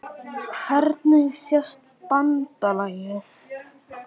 Hvernig sést BANDALAGIÐ?